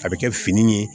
A bɛ kɛ fini ye